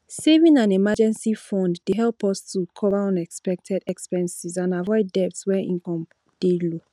saving an emergency fund dey help us to cover unexpected expenses and avoid debt when income dey low